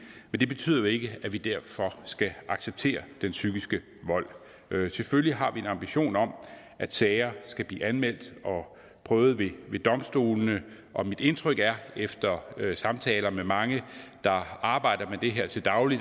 men det betyder jo ikke at vi derfor skal acceptere den psykiske vold selvfølgelig har vi en ambition om at sager skal blive anmeldt og prøvet ved domstolene og mit indtryk er efter samtaler med mange der arbejder med det her til daglig